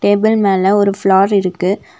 Table மேல ஒரு flower இருக்கு.